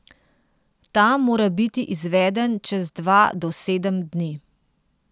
Ta mora biti izveden čez dva do sedem dni.